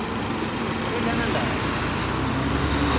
এটি উপরে জানালা